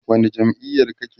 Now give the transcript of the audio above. wani jam'iyar kake?